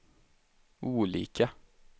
olika